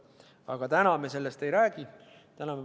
Aga täna me sellest ei räägi.